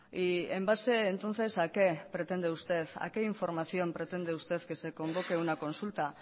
y en base entonces a qué pretende usted a qué información pretende usted que se convoque una consulta